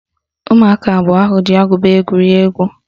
Ụmụaka abụọ ahụ ji agụba egwuri egwu